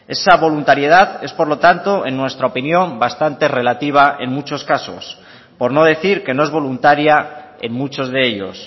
esa voluntariedad es por lo tanto en nuestra opinión bastante relativa en muchos casos por no decir que no es voluntaria en muchos de ellos